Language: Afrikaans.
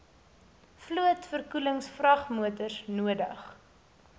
vloot verkoelingsvragmotors nodig